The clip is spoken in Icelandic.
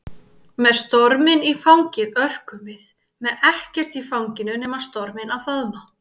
Með storminn í fangið örkum við, með ekkert í fanginu nema storminn að faðma.